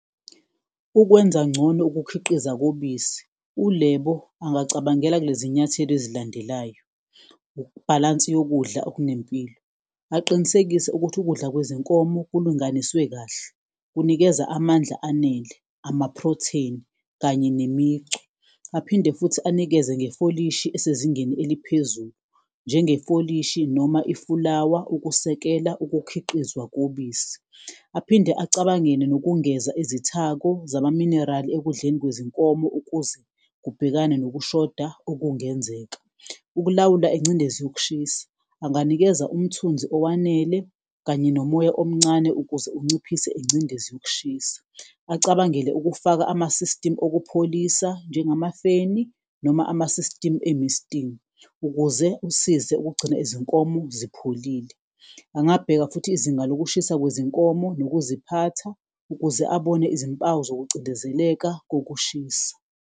Ukwenza ngcono ukukhiqiza kobisi uLebo angacabangela kulezi nyathelo ezilandelayo, bhalansi yokudla okunempilo aqinisekise ukuthi ukudla kwezinkomo kulunganiswe kahle, kunikeza amandla anele ama-protein kanye nemicu. Aphinde futhi anikeze ngefolishi esezingeni eliphezulu, njenge folishi noma ifulawa ukusekela ukukhiqizwa kobisi, aphinde acabangele nokungeza izithako zama-mineral ekudleni kwezinkomo ukuze kubhekane nokushoda okungenzeka. Ukulawula ingcindezi yokushisa, anganikeza umthunzi owanele kanye nomoya omncane ukuze unciphise ingcindezi yokushisa, acabangele ukufaka ama-system okupholisa njengamafeni noma ama-system e-misting. Ukuze usize ukugcina izinkomo zipholile, angabheka futhi izinga lokushisa kwezinkomo nokuziphatha ukuze abone izimpawu zokucindezeleka kokushisa.